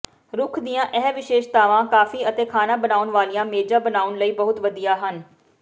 ਰੁੱਖ ਦੀਆਂ ਇਹ ਵਿਸ਼ੇਸ਼ਤਾਵਾਂ ਕਾਫੀ ਅਤੇ ਖਾਣਾ ਬਣਾਉਣ ਵਾਲੀਆਂ ਮੇਜ਼ਾਂ ਬਣਾਉਣ ਲਈ ਬਹੁਤ ਵਧੀਆ ਹਨ